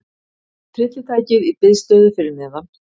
Tryllitækið í biðstöðu fyrir neðan.